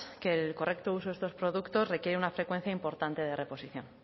que el correcto uso de estos productos requiere una frecuencia importante de reposición